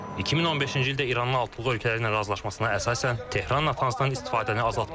2015-ci ildə İranın altılıq ölkələrlə razılaşmasına əsasən, Tehran Natanzdan istifadəni azaltmalı idi.